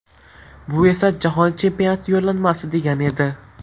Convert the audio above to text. Bu esa Jahon Chempionati yo‘llanmasi degani edi.